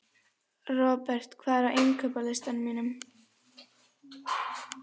Robert, hvað er á innkaupalistanum mínum?